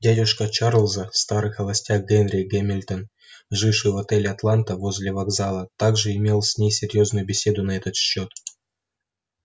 дядюшка чарлза старый холостяк генри гамильтон живший в отеле атланта возле вокзала также имел с ней серьёзную беседу на этот счёт